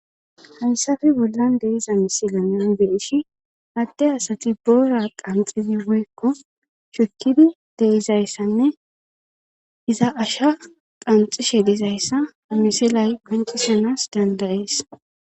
Hansafi bollan deiza misila naibish adde asati boora qanxidi woykko shukidi deizayssanne iza asha qanxishe diizayssa amisilay guncisonas dandayees.